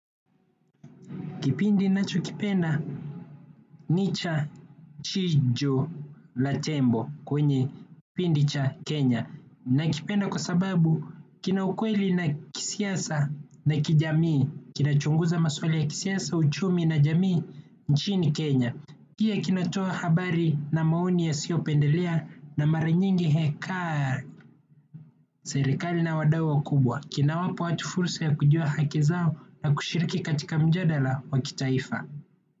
Kipindi nachokipenda ni cha chiju na tembo kwenye kipindi cha Kenya. Nakipenda kwa sababu kina ukweli na kisiasa na kijamii. Kina chunguza masuala ya kisiasa, uchumi na jamii nchini Kenya pia kinatoa habari na maoni yasiopendelea na maranyingi hekari serikali na wadau wakubwa. Kina wapa watu fursa ya kujua haki zao na kushiriki katika mjadala wa kitaifa.